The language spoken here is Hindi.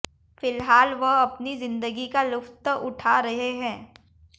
फिलहाल वह अपनी जिंदगी का लुत्फ उठा रहे है